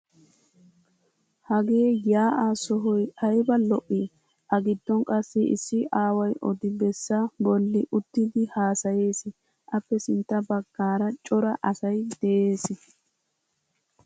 Hagee yaa "aa sohoy ayba loii! A giddon qassi issi aaway odi- bessa bolli uttidi haasayees, appe sinntta bagaaara cora asay de'ees.